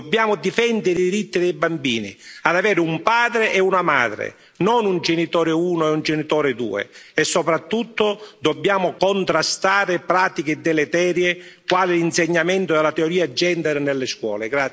Dobbiamo difendere i diritti dei bambini ad avere un padre e una madre, non un genitore 1 e un genitore 2, e soprattutto dobbiamo contrastare pratiche deleterie quali l'insegnamento della teoria gender nelle scuole.